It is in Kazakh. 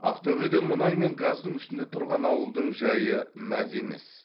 ақтөбеде мұнай мен газдың үстінде тұрған ауылдың жайы мәз емес